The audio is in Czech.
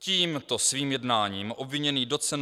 Tímto svým jednáním obviněný doc.